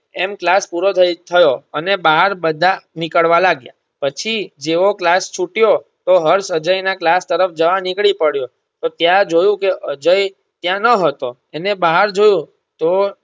એમ class પૂરો થઇ થયો અને બહાર બધા નિકળવા લાગ્યા પછી જેવો class છૂટ્યો તો હર્ષ અજય ના class તરફ જવા નીકળી પડ્યો તો ત્યાં જોયું કે અજય ત્યાં ન હતો એણે બહાર જોયું તો